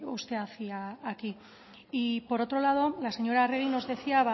usted hacía aquí y por otro lado la señora arregi nos decía